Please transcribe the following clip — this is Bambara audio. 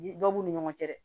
Dɔw b'u ni ɲɔgɔn cɛ dɛ